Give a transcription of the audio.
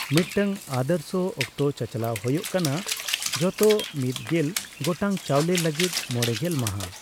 ᱢᱤᱫᱴᱟᱝ ᱟᱫᱚᱨᱥᱚ ᱚᱠᱛᱚ ᱪᱟᱪᱞᱟᱣ ᱦᱳᱭᱳᱜ ᱠᱟᱱᱟ ᱡᱷᱚᱛᱚ ᱢᱤᱫ ᱜᱮᱞ ᱜᱚᱴᱟᱝ ᱪᱟᱣᱞᱮ ᱞᱟᱹᱜᱤᱫ ᱢᱚᱲᱮᱜᱮᱞ ᱢᱟᱦᱟ ᱾